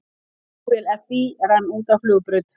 Flugvél FÍ rann út af flugbraut